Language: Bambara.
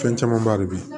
Fɛn camanba de be yen